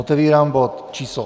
Otevírám bod číslo